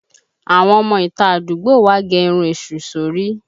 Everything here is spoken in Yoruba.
Àwọn ọmọ ìta àdúgbò wa gẹ irun èṣù sori